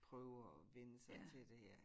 Prøve at vænne sig til det